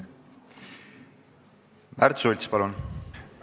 Märt Sults, palun!